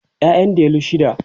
ƴaƴan delu shida